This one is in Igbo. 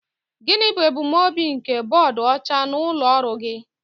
Gịnị bụ ebumnobi nke bọọdụ ọcha n'ụlọ ọrụ gị?